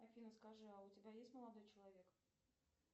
афина скажи а у тебя есть молодой человек